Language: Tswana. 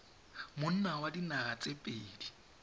monni wa dinaga tse pedi